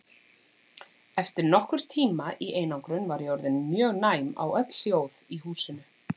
Eftir nokkurn tíma í einangrun var ég orðin mjög næm á öll hljóð í húsinu.